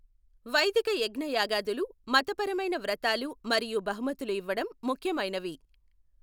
వైదిక యజ్ఞయాగాదులు, మతపరమైన వ్రతాలు మరియు బహుమతులు ఇవ్వడం ముఖ్యమైనవి.